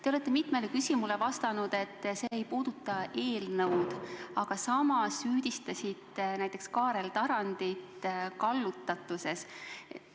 Te olete mitmele küsimusele vastanud, et see ei puuduta eelnõu, aga samas süüdistasite näiteks Kaarel Tarandit kallutatuses.